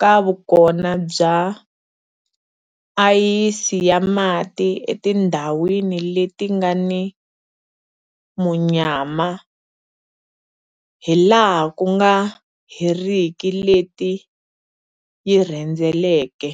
ka vukona bya ayisi ya mati etindhawini leti nga ni munyama hilaha ku nga heriki leti yi rhendzeleke.